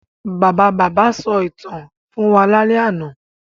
Bàbá-ìy sọ ìtàn fún wa lálẹ́ àná.